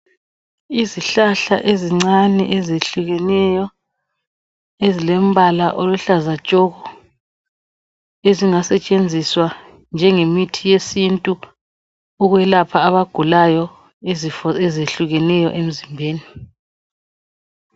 Izihlahla ezincane ezehlukeneyo ezilembala oluhlaza tshoko ezingasetshenziswa njenge mithi yesintu ukwelapha abagulayo izifo ezehlukeneyo emzimbeni.